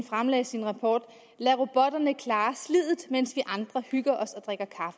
fremlagde sin rapport lad robotterne klare sliddet mens vi andre hygger os og drikker